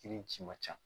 Kirici man ca